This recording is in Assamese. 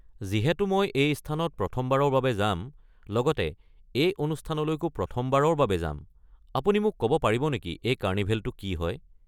যিহেতু মই এই স্থানত প্ৰথমবাৰৰ বাবে যাম, লগতে এই অনুষ্ঠানলৈকো প্ৰথমবাৰৰ বাবে যাম, আপুনি মোক ক'ব পাৰিব নেকি এই কাৰ্নিভেলটো কি হয়?